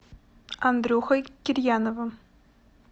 андрюхой кирьяновым